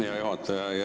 Hea juhataja!